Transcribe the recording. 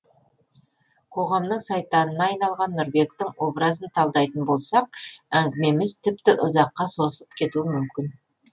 қоғамның сайтанына айналған нұрбектің образын талдайтын болсақ әңгімеміз тіпті ұзаққа созылып кетуі мүмкін